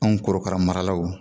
Anw korokara maralaw